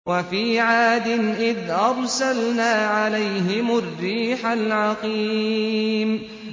وَفِي عَادٍ إِذْ أَرْسَلْنَا عَلَيْهِمُ الرِّيحَ الْعَقِيمَ